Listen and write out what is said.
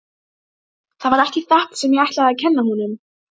Það var ekki þetta sem ég ætlaði að kenna honum.